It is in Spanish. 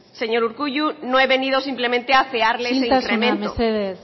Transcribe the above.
señor urkullu no he venido simplemente a afearle ese incremento isiltasuna mesedez